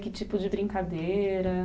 Que tipo de brincadeira?